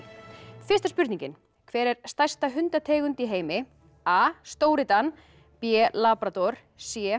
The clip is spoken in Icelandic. fyrsta spurningin hver er stærsta hundategund í heimi a stóri Dan b labrador c